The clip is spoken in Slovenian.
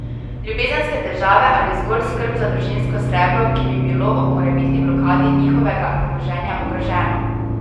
Ljubezenske težave ali zgolj skrb za družinsko srebro, ki bi bilo ob morebitni blokadi njihovega premoženja ogroženo?